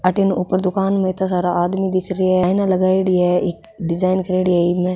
अठीने ऊपर दुकान में इत्ता सारा आदमी दिख रिया है आइना लगाइडी है डिजाइन करेड़ी है इनने।